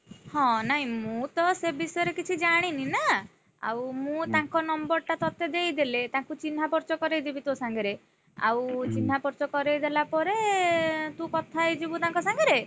ହଁ ନାଇଁମୁଁ ତ ସେ ବିଷୟରେ କିଛି ଜାଣିନି ନା, ଆଉ ମୁଁ ତାଙ୍କ number ଟା ତତେ ଦେଇଦେଲେ। ତାଙ୍କୁ ଚିହ୍ନାପରିଚ କରେଇ ଦେବି ତୋ ସାଙ୍ଗରେ, ଆଉ ଚିହ୍ନାପରିଚ କରେଇଦେଲା ପରେ ତୁ କଥା ହେଇଯିବୁ ତାଙ୍କ ସାଙ୍ଗରେ,